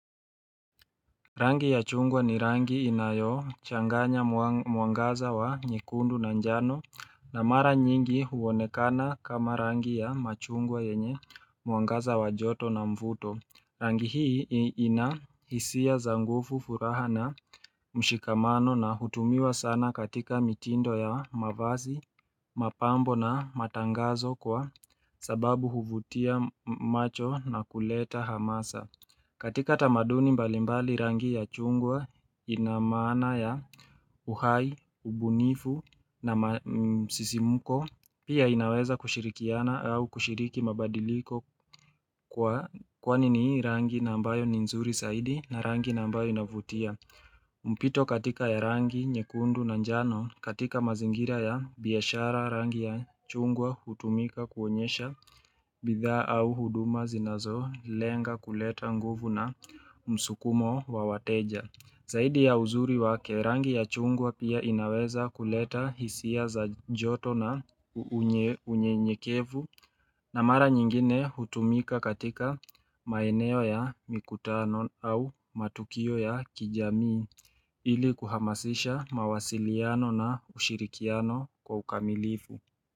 Rangi ya chungwa ni rangi inayochanganya mwangaza wa nyekundu na njano na mara nyingi huonekana kama rangi ya machungwa yenye mwangaza wa joto na mvuto. Rangi hii ina hisia za nguvu furaha na mshikamano na hutumiwa sana katika mitindo ya mavazi, mapambo na matangazo kwa sababu huvutia macho na kuleta hamasa. Katika tamaduni mbalimbali rangi ya chungwa ina maana ya uhai, ubunifu na msisimuko, pia inaweza kushirikiana au kushiriki mabadiliko kwani ni hii rangi na ambayo ni nzuri zaidi na rangi na ambayo inavutia. Mpito katika ya rangi nyekundu na njano katika mazingira ya biashara rangi ya chungwa hutumika kuonyesha bidhaa au huduma zinazolenga kuleta nguvu na msukumo wa wateja. Zaidi ya uzuri wake rangi ya chungwa pia inaweza kuleta hisia za joto na unyenyekevu na mara nyingine hutumika katika maeneo ya mikutano au matukio ya kijamii ili kuhamasisha mawasiliano na ushirikiano kwa ukamilifu.